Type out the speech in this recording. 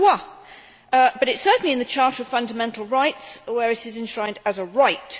But it is certainly in the Charter of Fundamental Rights, where it is enshrined as a right.